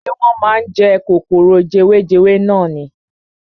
Ṣé wọ́n máa ń jẹ kòkòrò jewejewe nani.